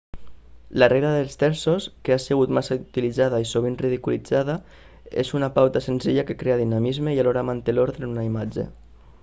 la regla dels terços que ha sigut massa utilizada i sovint ridiculitzada és una pauta senzilla que crea dinamisme i alhora manté l'ordre en una imatge